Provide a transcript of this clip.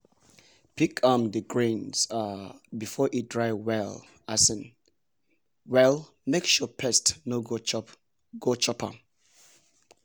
pick um di grains um before e dry well um well make sure pest no go chop go chop am!